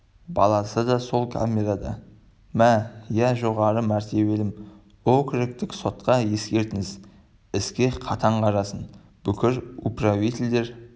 баласы да сол камерада ма иә жоғары мәртебелім округтік сотқа ескертіңіз іске қатаң қарасын бүкіл управительдер